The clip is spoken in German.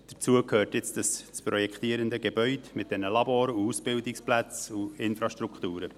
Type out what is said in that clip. Dazu gehört das zu projektierende Gebäude mit den Labors, Ausbildungsplätzen und Infrastrukturen.